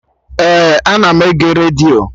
Ee, ana m ege redio